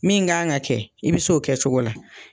Min gan ka kɛ, i bi s'o kɛcogo la.